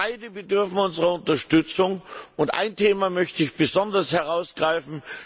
Beide bedürfen unserer Unterstützung. Ein Thema möchte ich besonders herausgreifen.